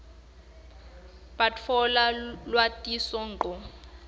batfola lwatiso ngco